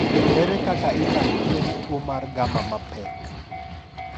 Ere kaka inyalo thiedh tuo mar gamma mapek?